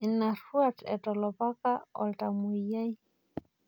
Ina ruat etolopaka oltamwoyiai.